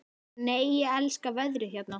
Nei, ég elska veðrið hérna!